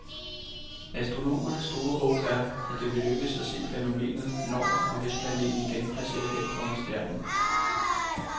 Astronomernes store håb er, at det vil lykkes at se fænomenet, når og hvis planeten igen passerer hen foran stjernen.